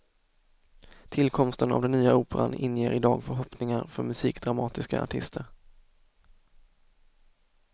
Tillkomsten av den nya operan inger idag förhoppningar för musikdramatiska artister.